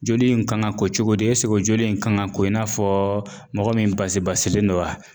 Joli in kan ka ko cogo di joli in kan ka ko i n'a fɔ mɔgɔ min basi basilen don wa?